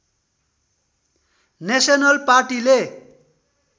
national पार्टीले